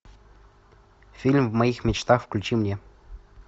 фильм в моих мечтах включи мне